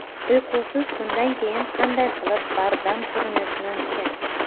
Uyqusiz tundan keyin qanday qilib bardam ko‘rinish mumkin?.